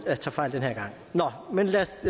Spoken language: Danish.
jeg tager fejl den her gang nå men lad os